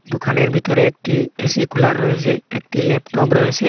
দোকানের ভিতরে একটি এ_সি কুলার রয়েসে একটি ল্যাপটপ রয়েসে ।